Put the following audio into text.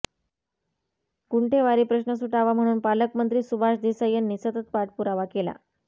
गुंठेवारी प्रश्न सुटावा म्हणून पालकमंत्री सुभाष देसाई यांनी सतत पाठपुरावा केला